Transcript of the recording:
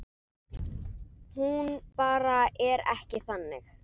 Hún bara er ekki þannig.